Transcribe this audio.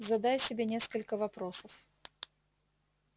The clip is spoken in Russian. задай себе несколько вопросов